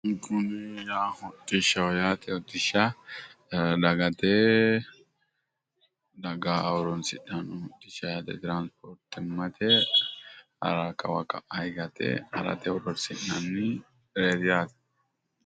Kuni hodhishshaho yaate. Hodhishsha dagate daga horoonsidhanno hodhishsha yaate. Hara kawa ka'a higate harate horoonsi'nannireeti yaate.